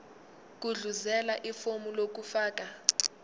gudluzela ifomu lokufaka